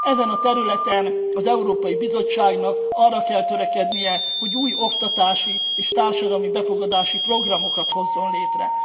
Ezen a területen az Európai Bizottságnak arra kell törekednie, hogy új oktatási, és társadalmi befogadási programokat hozzon létre.